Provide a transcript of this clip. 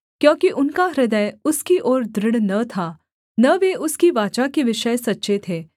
क्योंकि उनका हृदय उसकी ओर दृढ़ न था न वे उसकी वाचा के विषय सच्चे थे